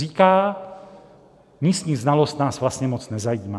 Říká: Místní znalost nás vlastně moc nezajímá.